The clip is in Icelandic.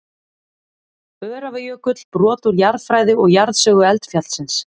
Öræfajökull, brot úr jarðfræði og jarðsögu eldfjallsins.